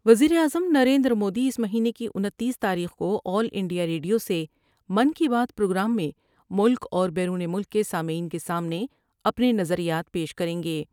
وزیراعظم نریندرمودی اس مہینے کی انتیس تاریخ کو آل انڈیاریڈیو سے من کی بات پروگرام میں ملک اور بیرون ملک کے سامعین کے سامنے اپنے نظریات پیش کر یں گے ۔